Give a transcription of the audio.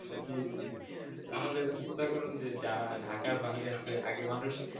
জি জি তাহলে এবার চিন্তা করুন যে যারা ঢাকার বাইরে আছে আগে মানুষ,